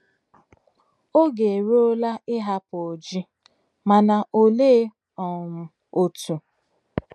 Oge eruola ịhapụ Oji - mana olee um otu?